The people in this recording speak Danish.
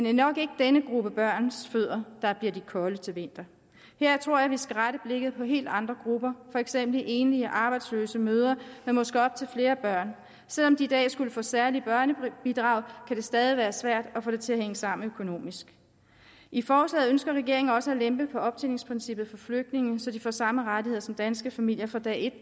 er nok ikke denne gruppe børns fødder der bliver de kolde til vinter her tror jeg at vi skal rette blikket mod helt andre grupper for eksempel enlige arbejdsløse mødre med måske op til flere børn selv om de i dag skulle få særlige børnebidrag kan det stadig være svært at få det til at hænge sammen økonomisk i forslaget ønsker regeringen også at lempe på optjeningsprincippet for flygtninge så de får samme rettigheder som danske familier fra dag